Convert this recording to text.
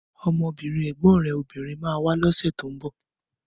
Ọmọbìnrin ẹ̀gbọ́n rẹ̀ obìnrin ma wá lọ́sẹ̀ tó ń bọ̀